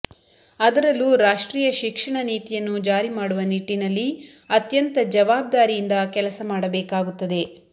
ಅದರಲ್ಲೂ ರಾಷ್ಟ್ರೀಯ ಶಿಕ್ಷಣ ನೀತಿಯನ್ನು ಜಾರಿ ಮಾಡುವ ನಿಟ್ಟಿನಲ್ಲಿ ಅತ್ಯಂತ ಜವಾಬ್ದಾರಿಯಂದ ಕೆಲಸ ಮಾಡಬೇಕಾಗುತ್ತದೆ